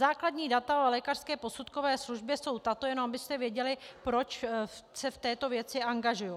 Základní data o lékařské posudkové službě jsou tato, jenom abyste věděli, proč se v této věci angažuji.